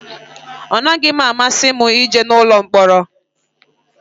Ọ naghị amasị m ije ụlọ mkpọrọ